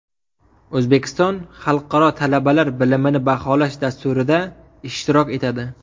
O‘zbekiston Xalqaro talabalar bilimini baholash dasturida ishtirok etadi.